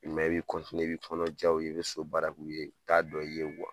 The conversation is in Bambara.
i bi i b'i kɔnɔ jɛya u ye ,i be so baara k'u ye. U t'a dɔ i ye wa